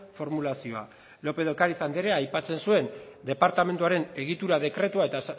formulazioa lópez de ocáriz andrea aipatzen zuen departamenduaren egitura dekretua eta